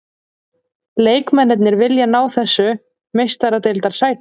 Leikmennirnir vilja ná þessu meistaradeildarsæti.